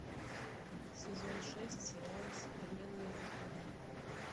сезон шесть сериал современная любовь